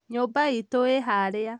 nyũmba itu ĩ harĩa